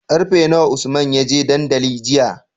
Karfe nawa usman yaje dandali jiya?